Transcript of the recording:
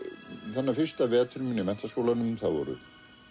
þennan fyrsta vetur minn í menntaskólanum voru